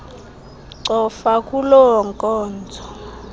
cofa kuloo nkonzo